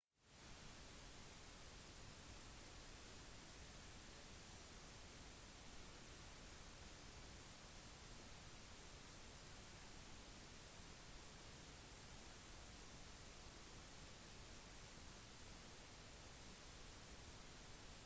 det tradisjonelle middelalderslottet har vært en inspirasjon for fantasi i lang tid og tilkaller frem bilder av jousts banketter og arthurian ridderlighet